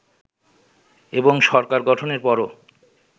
এবং সরকার গঠনের পরও